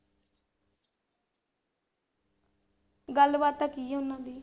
ਗੱਲਬਾਤ ਤਾਂ ਕੀ ਉਹਨਾਂ ਦੀ